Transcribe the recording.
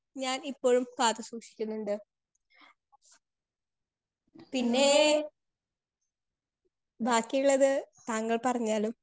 Speaker 2 ഞാൻ ഇപ്പഴും കാത്ത് സൂക്ഷിക്ക്ന്നുണ്ട്. പിന്നെ ബാക്കിയിള്ളത് താങ്കൾ പറഞ്ഞാലും